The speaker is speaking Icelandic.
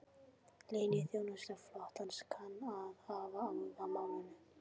Leyniþjónusta flotans kann að hafa áhuga á málinu